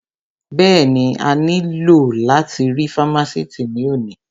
Bẹ́ẹ̀ni, a ní lò láti rí fámásìtì ní òní